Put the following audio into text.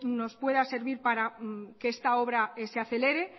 nos pueda servir para que esta obra se acelere